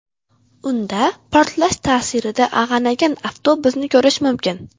Unda portlash ta’sirida ag‘anagan avtobusni ko‘rish mumkin.